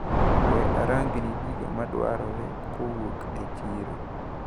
We arangni gigo madwarore kowuok e chiro.